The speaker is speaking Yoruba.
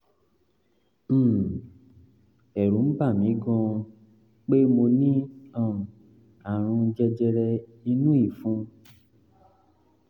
um ẹ̀rù ń bà mí gan-an um pé mo ní um àrùn jẹjẹrẹ inú ìfun